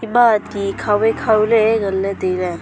ma ti khau wai khau ley nganley tailey.